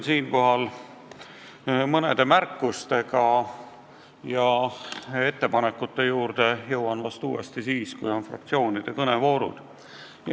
Piirdun mõne märkusega, ettepanekute juurde jõuan vahest uuesti siis, kui on fraktsioonide kõnede voor.